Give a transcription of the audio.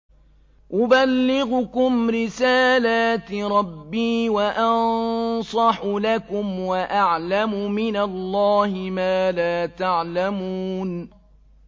أُبَلِّغُكُمْ رِسَالَاتِ رَبِّي وَأَنصَحُ لَكُمْ وَأَعْلَمُ مِنَ اللَّهِ مَا لَا تَعْلَمُونَ